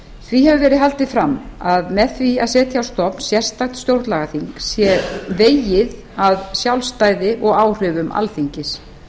því hefur verið haldið fram að með því að setja á stofn sérstakt stjórnlagaþing sé vegið að sjálfstæði og áhrifum alþingis